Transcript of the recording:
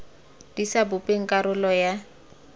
di sa bopeng karolo ya